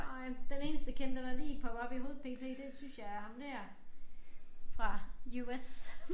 Nej den eneste kendte der lige popper op i hovedet lige p.t. det synes jeg er ham der fra US